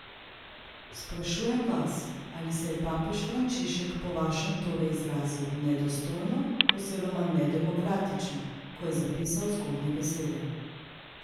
Sprašujem vas, ali se je papež Frančišek po vašem torej izrazil nedostojno oziroma nedemokratično, ko je zapisal zgornje besede?